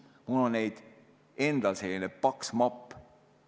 Mul on neid endal selline paks mapp.